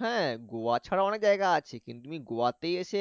হ্যা গোয়া ছাড়াও অনেক জায়গা আছে কিন্তু তুমি গোয়াতেই এসে